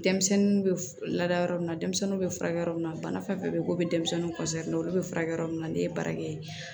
Denmisɛnninw bɛ laada yɔrɔ min na denmisɛnninw bɛ furakɛ yɔrɔ min na bana fɛn fɛn bɛ yen ko bɛ denmisɛnnin olu bɛ furakɛ yɔrɔ min na ne ye baara kɛ